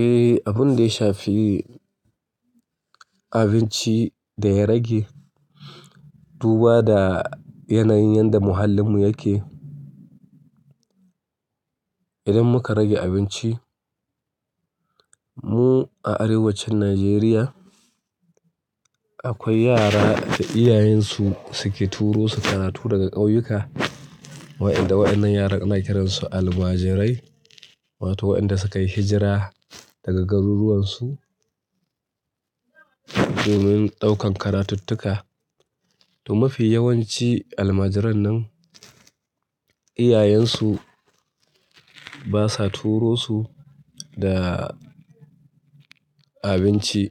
Eh, abun da ya shafi abinci da ya rage. Duba da yanayin yadda muhallin mu yake, idan muka rage abinci mu a arewacin Najeriya akwai yara da iyayensu suke turo su karatu daga ƙauyuka. Waɗanda waɗannan yaran ana kiransu almajirai wato waɗanda suka yi hijira daga garuruwansu domin ɗaukan karatuttuka. To mafi yawanci almajiran nan iyayensu basa turo su da abinci.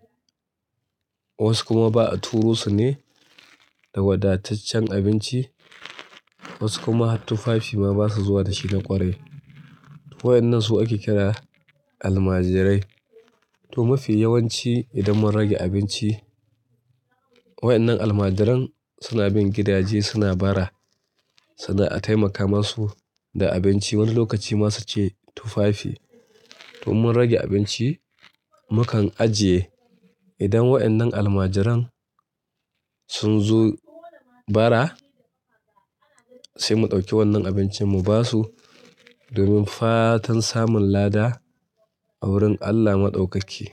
Wasu kuma ba a turo su ne da wadataccen abinci, wasu kuma har tufafi ma basa zuwa da shi na ƙwarai. Waɗannan su ake kira almajirai. To mafi yawanci idan mun rage abinci waɗannan almajiran suna bin gidaje suna bara suna a taimaka masu da abinci. Wani lokaci ma suke tufafi. To mun rage abinci mukan ajiye idan waɗannan almajiran sun zo bara sai mu ɗauki wannan abincin mu basu domin fatan samun lada a wurin Allah Maɗaukaki.